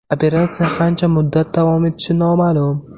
Operatsiya qancha muddat davom etishi noma’lum.